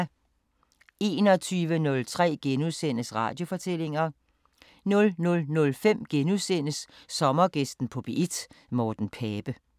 21:03: Radiofortællinger * 00:05: Sommergæsten på P1: Morten Pape *